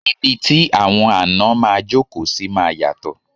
Ibi tí àwọn àná máa jókòó sí máa yàtò